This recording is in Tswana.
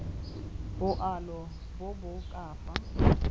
boalo bo bo ka fa